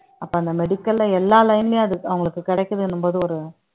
அப்ப அந்த medical ல எல்லா line லயும் அது அவங்களுக்கு கிடைக்குதுன்னும்போது ஒரு